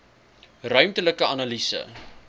ruimtelike analise